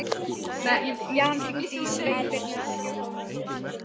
Jan, hringdu í Sveinbirnu eftir fjórtán mínútur.